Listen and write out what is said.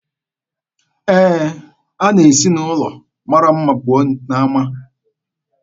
Ee, a na-esi n'ụlọ mara mma pụọ n'ama